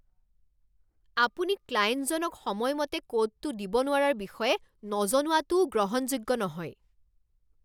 আপুনি ক্লায়েণ্টজনক সময়মতে কোডটো দিব নোৱাৰাৰ বিষয়ে নজনোৱাটোও গ্ৰহণযোগ্য নহয়।